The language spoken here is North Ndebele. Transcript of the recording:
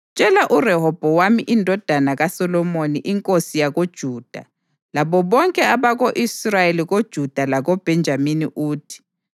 “Tshela uRehobhowami indodana kaSolomoni inkosi yakoJuda, labo bonke abako-Israyeli koJuda lakoBhenjamini uthi,